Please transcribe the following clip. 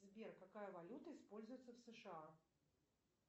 сбер какая валюта используется в сша